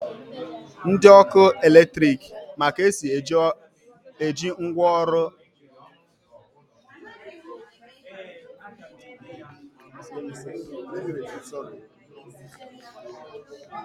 Ndi ọkụ eletrik ma ka esi eji ngwaọrụ latiriki ọkụ arụ orụ